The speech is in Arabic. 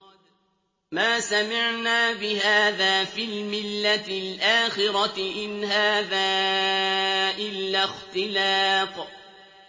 مَا سَمِعْنَا بِهَٰذَا فِي الْمِلَّةِ الْآخِرَةِ إِنْ هَٰذَا إِلَّا اخْتِلَاقٌ